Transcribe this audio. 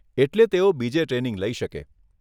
એટલે તેઓ બીજે ટ્રેનિંગ લઈ શકે.